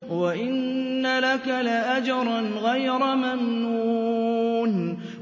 وَإِنَّ لَكَ لَأَجْرًا غَيْرَ مَمْنُونٍ